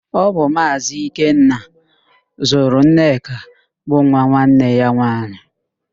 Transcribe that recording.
Ọ bu Maazị Ikenna zụrụ Nneka bụ nwa nwanne ya nwaanyị